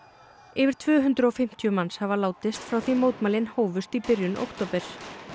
yfir tvö hundruð og fimmtíu manns hafa látist frá því mótmælin hófust í byrjun október